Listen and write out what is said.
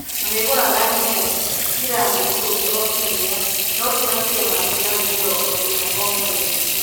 Marĩ gũraga nginya giramu ikũmi o kiumia . No ti makĩria ma giramu mĩrongo ĩna o mweri.